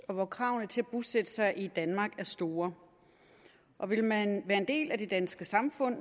og hvor kravene til at bosætte sig i danmark er store vil man være en del af det danske samfund